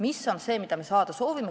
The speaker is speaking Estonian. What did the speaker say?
Mis on see, mida me saada soovime?